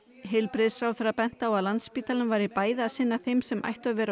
heilbrigðisráðherra benti á að Landspítalinn væri bæði að sinna þeim sem ættu að vera